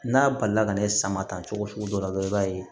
N'a balila ka ne sama ta cogo sugu dɔ la i b'a ye